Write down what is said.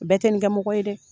Bɛɛ tɛ nin kɛ mɔgɔ ye dɛ!